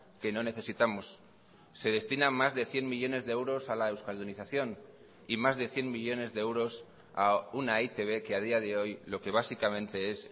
que no necesitamos se destina más de cien millónes de euros a la euskaldunización y más de cien millónes de euros a una eitb que a día de hoy lo que básicamente es